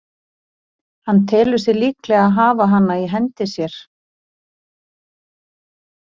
Hann telur sig líklega hafa hana í hendi sér.